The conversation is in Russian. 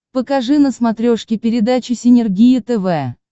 покажи на смотрешке передачу синергия тв